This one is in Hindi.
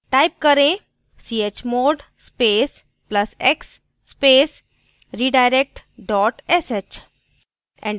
type करेंः chmod space plus x space redirect dot sh